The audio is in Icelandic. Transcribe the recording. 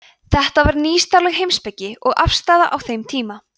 þetta var nýstárleg heimspekileg afstaða á þeim tímum